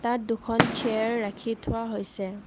ইয়াত দুখন চেয়াৰ ৰাখি থোৱা হৈছে।